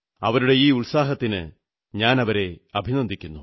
അവരുടെ ഈ ഉത്സാഹത്തിന് അവരെ ഞാൻ അഭിനന്ദിക്കുന്നു